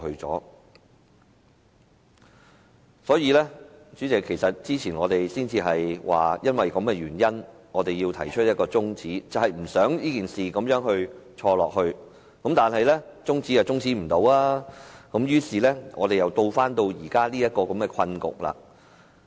主席，早前我們正因為這個原因，提出把辯論中止待續的議案，不想這件事繼續錯下去，但未能成功把辯論中止，於是我們又回到這個困局。